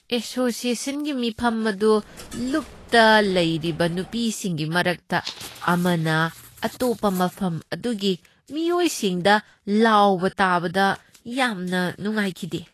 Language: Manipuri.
ꯑꯦꯁꯣꯁꯤꯑꯦꯁꯟꯒꯤ ꯃꯤꯐꯝ ꯑꯗꯨ ꯆꯨꯞꯗ ꯂꯩꯔꯤꯕ ꯅꯨꯄꯤꯁꯤꯡꯒꯤ ꯃꯔꯛꯇ ꯑꯃꯅ ꯑꯇꯣꯞꯄ ꯃꯐꯝ ꯑꯗꯨꯒꯤ ꯃꯤꯑꯣꯏꯁꯤꯡꯗ ꯂꯥꯎꯕ ꯇꯥꯕꯗ ꯌꯥꯝꯅ ꯅꯨꯡꯉꯥꯏꯈꯤꯗꯦ꯫